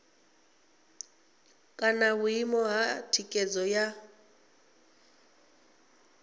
kana vhuimo ha thikhedzo ya